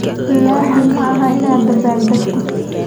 Lazin ma aha inaad dabbaaldegto.